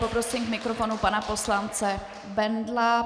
Poprosím k mikrofonu pana poslance Bendla.